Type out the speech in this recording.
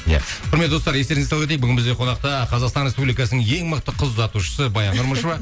иә құрметті достар естеріңізге сала кетейік бүгін бізде қонақта қазақстан республикасының ең мықты қыз ұзатушысы баян нұрмышева